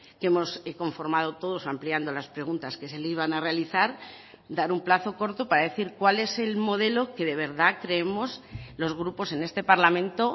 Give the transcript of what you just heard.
que hemos conformado todos ampliando las preguntas que se le iban a realizar dar un plazo corto para decir cuál es el modelo que de verdad creemos los grupos en este parlamento